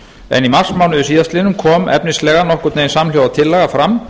en í marsmánuði síðastliðnum kom efnislega nokkurn veginn samhljóða tillaga fram